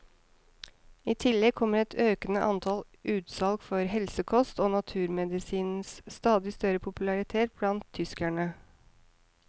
I tillegg kommer et økende antall utsalg for helsekost og naturmedisinens stadig større popularitet blant tyskerne.